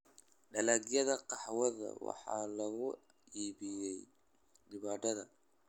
Dalagyada qaxwada waxaa lagu iibiyey dibadda.